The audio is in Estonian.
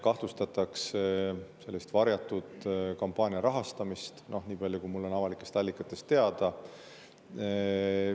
Kahtlustatakse kampaania varjatud rahastamist, niipalju kui mulle on avalikest allikatest teada.